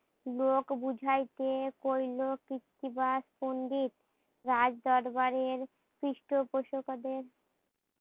লোক বুঝাইতে কইলো কৃত্তিবাজ পন্ডিত রাজ দরবারের পৃষ্ঠ পোষকতাদের।